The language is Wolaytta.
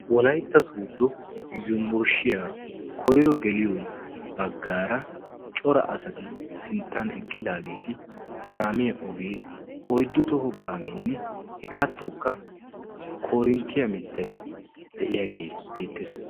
Wolaytta sodo yunbburshshiyaa koyro geliyo baggaara cora asati sinttan eqqidagetti kaamiyaa ogee oyddu toho kaameene hegaatunkka korinttiya mittay de'iyae beetees.